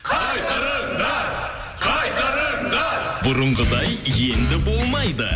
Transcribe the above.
қайтарыңдар қайтарыңдар бұрынғыдай енді болмайды